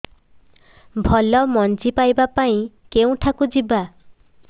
ଭଲ ମଞ୍ଜି ପାଇବା ପାଇଁ କେଉଁଠାକୁ ଯିବା